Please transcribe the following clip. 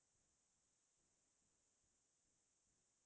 sikkim গৈছিলো manali গৈছিলো